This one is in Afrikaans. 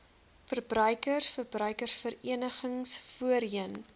verbruikers verbruikersverenigings voorheen